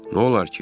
Nolar ki?